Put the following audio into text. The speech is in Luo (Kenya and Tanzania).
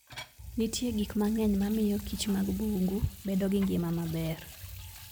Nitie gik mang'eny ma miyo kich mag bungu bedo gi ngima maber.